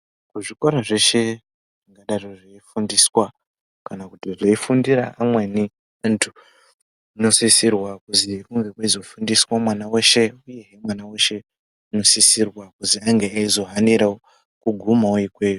Muzvikora zveshe zvingadaro zveifundiswa kana kuti zveifundira amweni antu zvinosisirwa kuti kunge kweizofundira mwana weshe uyezve mwana weshe anosisirwa kuti ange eizohanirawo kugumawo ikweyo.